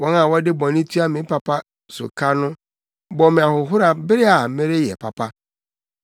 Wɔn a wɔde bɔne tua me papa so ka no, bɔ me ahohora bere a mereyɛ papa.